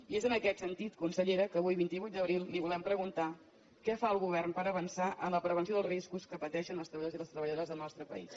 i és en aquest sentit consellera que avui vint vuit d’abril li volem preguntar què fa el govern per avançar en la pre venció dels riscos que pateixen els treballadors i les treballadores del nostre país